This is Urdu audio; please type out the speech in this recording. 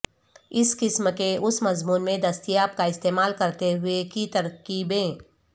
اس قسم کے اس مضمون میں دستیاب کا استعمال کرتے ہوئے کی ترکیبیں